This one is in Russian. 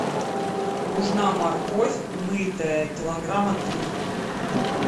нужна морковь мытая килограмма три